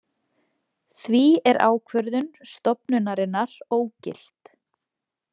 Því er ákvörðun stofnunarinnar ógilt